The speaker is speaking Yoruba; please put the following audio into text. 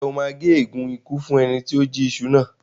Ǹjẹ́ o máa gé ègún ikú fún ẹni tí ó jí iṣu náà?